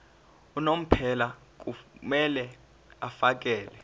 unomphela kumele afakele